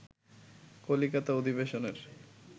কলিকাতা অধিবেশনের